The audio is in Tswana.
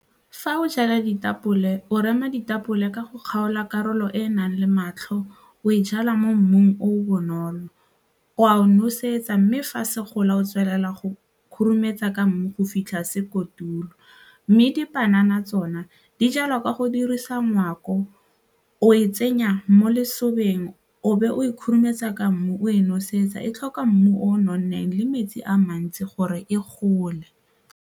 Fa o jala ditapole, o rema ditapole ka go kgaola karolo e e nang le matlho o e jala mo mmung o bonolo, o a o nosetsa mme fa se gola o tswelela go khurumetsa ka mmu go fitlha se kotula mme dipanana tsona di jalwa ka go dirisa o e tsenya mo lesong beng o be o e khurumetsa ka mmu o e nosetsa e tlhoka mmu o nonneng le metsi a mantsi gore e gole.